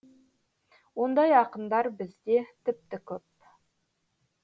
ондай ақындар бізде тіпті көп